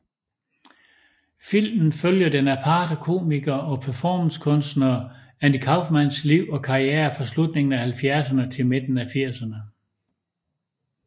Filmen følger den aparte komiker og performancekunstner Andy Kaufmans liv og karriere fra slutningen af halvfjerdserne til midten af firserne